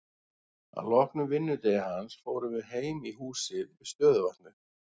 Að loknum vinnudegi hans fórum við heim í húsið við stöðuvatnið.